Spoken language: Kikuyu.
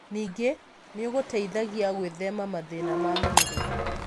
Ningĩ nĩ ũgũteithagia gwĩthema mathĩna ma mwĩrĩ.